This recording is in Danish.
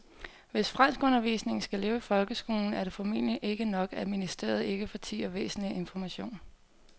Hvis franskundervisningen skal leve i folkeskolen er det formentlig ikke nok, at ministeriet ikke fortier væsentlig information.